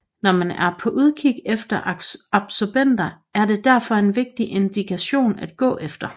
Når man er på udkig efter absobenter er det derfor en vigtig indikator at gå efter